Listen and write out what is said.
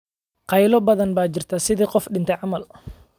Qaylo badan baa jirtaa, sidii qof dhintay camal